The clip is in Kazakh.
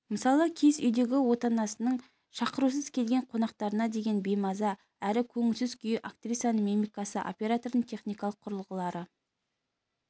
мысалы киіз үйдегі отанасының шақырусыз келген қонақтарына деген беймаза әрі көңілсіз күйі актрисаның мимикасы оператордың техникалық құрылғылары